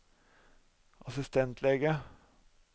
assistentlege